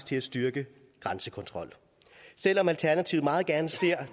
til en styrket grænsekontrol selv om alternativet meget gerne ser